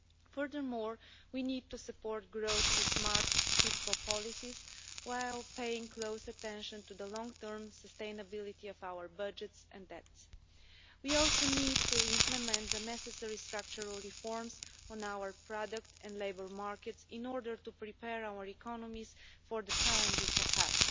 Furthermore, we need to support growth with smart fiscal policies while paying close attention to the long term sustainability of our budgets and debts. We also need to implement the necessary structural reforms on our product and labour markets in order to prepare our economies for the challenges ahead.